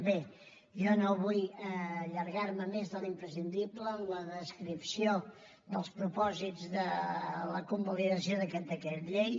bé jo no vull allargar me més de l’imprescindible en la descripció dels propòsits de la convalidació d’aquest decret llei